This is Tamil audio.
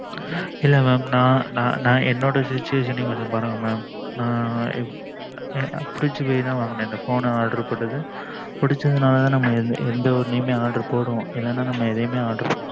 இல்ல mam நான் என்னோட Situation பாருங்க mam நான் பிடிச்சி போய்தான் வாங்குனேன் இந்த phone பிடிச்ச னால தான் நம்ம எந்த ஒன்னும் order போடுவோம் இல்லனா நம்ம எதையூம் order போடமாட்டோம்